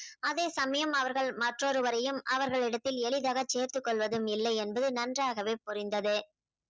அதே சமயம் அவர்கள் மற்றொருவரையும் அவர்களிடத்தில் எளிதாக சேர்த்துக்கொள்வதும் இல்லை என்று நன்றாகவே புரிந்தது.